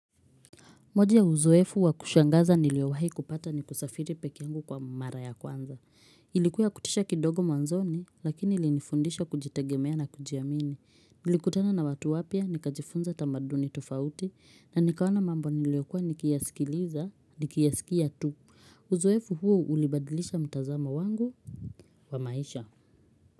Moja ya uzoefu wa kushangaza niliowahi kupata ni kusafiri peke eyangu kwa mara ya kwanza. Ilikuwa ya kutisha kidogo mwanzoni lakini ilinifundisha kujitegemea na kujiamini. Nilikutana na watu wapya nikajifunza tamaduni tofauti na nikaona mambo niliokua nikiyasikiliza nikiyasikia tu. Uzoefu huo ulibadilisha mtazamo wangu wa maisha.